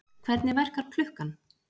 Hvernig verkar klukkan?